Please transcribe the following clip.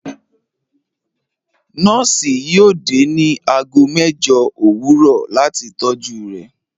Nọọsi yóò dẹ̀ ní àágọ̀ mẹjọ́ owurọ̀ latí tọ́jú rè